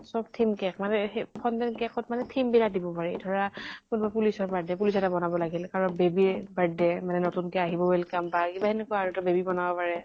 চব theme cake মানে সেই fondant cake ত মানে theme বিলাক দিব পাৰি। ধৰা কোনোবা police ৰ birthday, police এটা বনাব লাগিল। কাৰোবাৰ baby ৰ birthday মানে নতুন কে আহিব welcome বা কিবা সেনেকুৱা আৰু ত baby বনাব পাৰে।